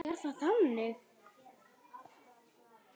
Er það þannig?